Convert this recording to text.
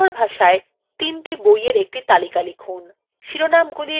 শিরোনামগুলির ইংরেজি transliteration দিন